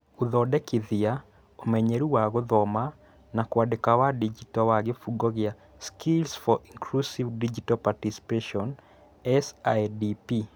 Gũthondekithia ũmenyeru wa Gũthoma na Kũandĩka wa Digito wa kĩbungo gĩa Skills for Inclusive Digital Participation (SIDP)